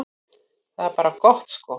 Það er bara gott sko.